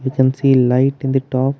we can see light in the top.